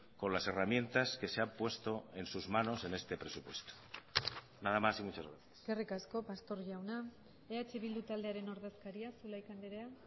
con las herramientas que se han puesto en sus manos en este presupuesto nada más y muchas gracias eskerrik asko pastor jauna eh bildu taldearen ordezkaria zulaika andrea